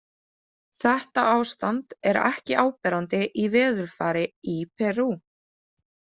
Þetta ástand er ekki áberandi í veðurfari í Perú.